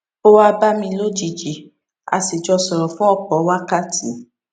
ó wá bá mi lójijì a sì jọ sòrò fún òpò wákàtí